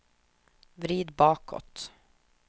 vrid bakåt